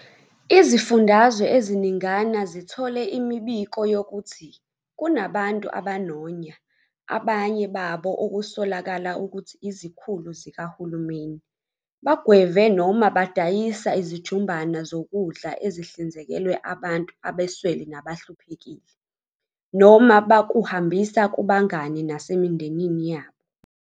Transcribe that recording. Izifundazwe eziningana zithole imibiko yokuthi kunabantu abanonya, abanye babo okusolakala ukuthi izikhulu zikahulumeni, bagweve noma badayisa izijumbana zokudla ezihlinzekelwe abantu abaswele nabahluphekile, noma bakuhambisa kubangani nasemindenini yabo.